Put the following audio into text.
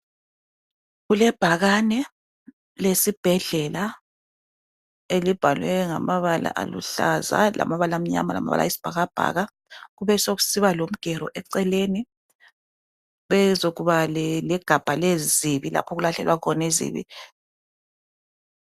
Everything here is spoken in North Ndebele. Kulebhakane lesibhedlela elibhalwe ngamabala aluhlaza, lamabala amnyama lamabala ayisibhakabhaka. Kube sekusiba lomgero eceleni bezekuba legabha lezibi lapho okulahlelwa khona izibi.